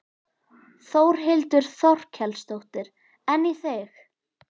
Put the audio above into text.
Þórhildur Þorkelsdóttir: En í þig?